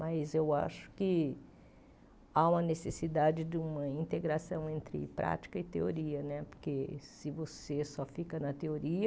Mas eu acho que há uma necessidade de uma integração entre prática e teoria né, porque se você só fica na teoria,